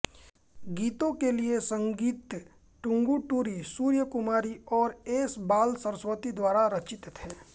गीतों के लिए संगीत टंगुटूरि सूर्यकुमारी और एस बालसरस्वती द्वारा रचित थे